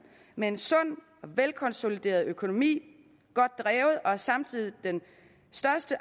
med en sund og velkonsolideret økonomi godt drevet og samtidig den største